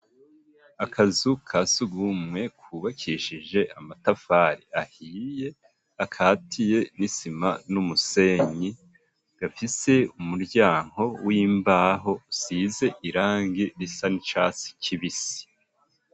Akazu kasugumwe kubakishije amatafari ahiye akatiye n'isima n'umusenyi gafise umuryango w'imbaho usize irangi risa n'icatsi kibisi.